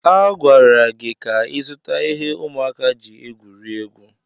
A gwara gị ka ịzụta ihe ụmụaka ji egwuri egwu.